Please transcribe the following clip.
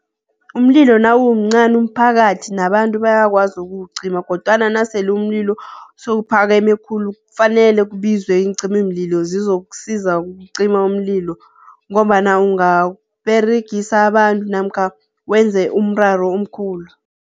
Umlilo nawumncani umphakathi nabantu bayakwazi ukuwucima, kodwana nasele umlilo sewuphakeme khulu kufanele kubizwe iincimamlilo zizokusiza ukucima umlilo, ngombana ungaberegisa abantu namkha wenze umraro omkhulu.